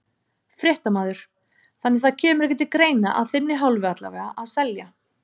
Fréttamaður: Þannig það kemur ekki til greina, að þinni hálfu allavega, að selja?